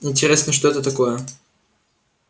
интересно что это такое